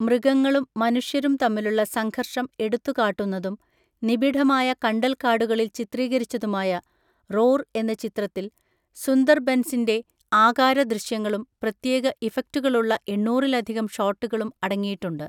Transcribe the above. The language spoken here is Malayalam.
മൃഗങ്ങളും മനുഷ്യരും തമ്മിലുള്ള സംഘർഷം എടുത്തുകാട്ടുന്നതും നിബിഡമായ കണ്ടൽക്കാടുകളിൽ ചിത്രീകരിച്ചതുമായ റോർ എന്ന ചിത്രത്തിൽ സുന്ദർബൻസിന്‍റെ ആകാശ ദൃശ്യങ്ങളും പ്രത്യേക ഇഫക്റ്റുകളുള്ള എണ്ണൂറിലധികം ഷോട്ടുകളും അടങ്ങിയിട്ടുണ്ട്.